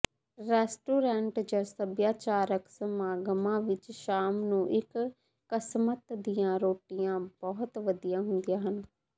restaurant ਜਾਂ ਸੱਭਿਆਚਾਰਕ ਸਮਾਗਮਾਂ ਵਿੱਚ ਸ਼ਾਮ ਨੂੰ ਇੱਕ ਕਸਮਤ ਦੀਆਂ ਰੋਟੀਆਂ ਬਹੁਤ ਵਧੀਆ ਹੁੰਦੀਆਂ ਹਨ